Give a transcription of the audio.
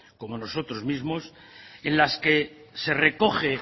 como nosotros mismos en las que se recoge